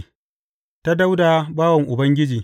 Ta Dawuda bawan Ubangiji.